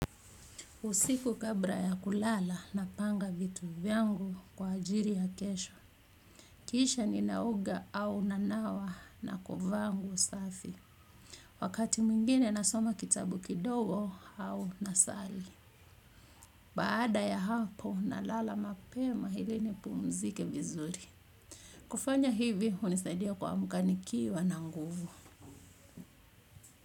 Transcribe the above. Usiku kabla ya kulala napanga vitu vyangu kwa ajili ya kesho kisha ninaoga au nanawa na kuvaa nguo safi. Wakati mwingine nasoma kitabu kidogo au nasali. Baada ya hapo nalala mapema hili nipumzike vizuri. Kufanya hivi hunisaidia kuamka nikiwa na nguvu.